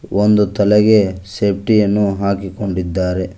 ಒಂದು ತಲೆಗೆ ಸೇಫ್ಟಿ ಅನ್ನು ಹಾಕಿಕೊಂಡಿದ್ದಾರೆ.